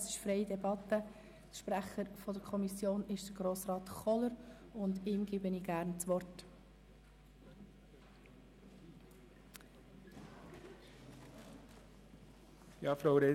Für die GSoK spricht der Kommissionspräsident, Grossrat Kohler, dem ich gerne das Wort übergebe.